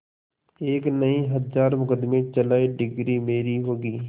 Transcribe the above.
एक नहीं हजार मुकदमें चलाएं डिगरी मेरी होगी